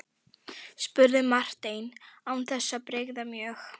spurði Marteinn án þess að bregða mjög.